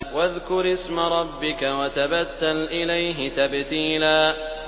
وَاذْكُرِ اسْمَ رَبِّكَ وَتَبَتَّلْ إِلَيْهِ تَبْتِيلًا